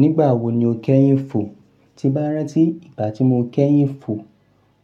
Nígbà wo ni o kẹ́yìn fò? Ti n bá rántí ìgbà tí mo kẹ́yìn fò,